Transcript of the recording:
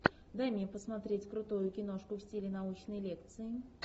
дай мне посмотреть крутую киношку в стиле научной лекции